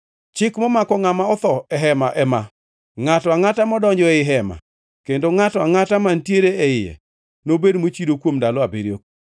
“Chik momako ngʼama otho e hema ema: Ngʼato angʼata modonjo ei hema kendo ngʼato angʼata mantiere e iye nobed mochido kuom ndalo abiriyo,